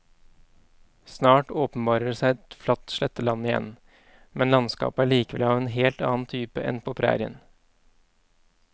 Snart åpenbarer det seg et flatt sletteland igjen, men landskapet er likevel av en helt annen type enn på prærien.